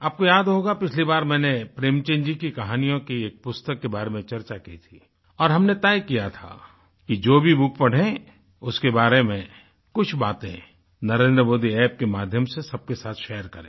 आपको याद होगा पिछली बार मैंने प्रेमचंद जी की कहानियों की एक पुस्तक के बारे में चर्चा की थी और हमने तय किया था कि जो भी बुक पढ़ें उसके बारे में कुछ बातें NarendraModiApp के माध्यम से सबके साथ शेयर करें